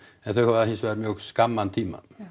en þau hafa hins vegar mjög skamman tíma